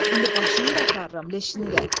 İndi başını da aparıram, leşini də.